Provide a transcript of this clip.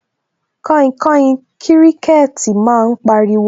Kainkain kíríkẹ́tì máa ń pariwo